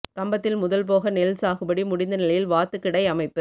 கம்பத்தில் முதல் போக நெல் சாகுபடி முடிந்த நிலையில் வாத்துக்கிடை அமைப்பு